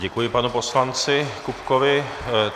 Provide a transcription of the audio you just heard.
Děkuji, panu poslanci Kupkovi.